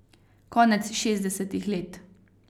Konec šestdesetih let.